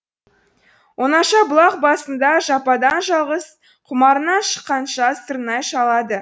оңаша бұлақ басында жападан жалғыз құмарынан шыққанша сырнай шалады